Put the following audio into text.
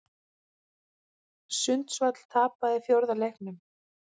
Sundsvall tapaði fjórða leiknum